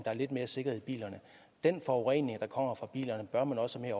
er lidt mere sikkerhed i bilerne den forurening der kommer fra bilerne bør man også have